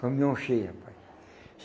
Caminhão cheio, rapaz.